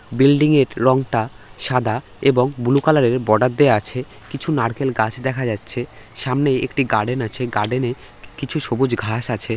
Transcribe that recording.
Building -এর রংটা সাদা এবং ব্লু কালার -এর বর্ডার দেওয়া আছে। কিছু নারকেল গাছ দেখা যাচ্ছে। সামনে একটি গার্ডেন আছে গার্ডেন -এ কি কিছু সবুজ ঘাস আছে।